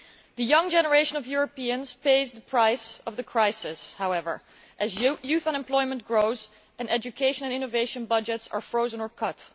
The young generation of Europeans pays the price of the crisis, however, as youth unemployment grows and education and innovation budgets are frozen or cut.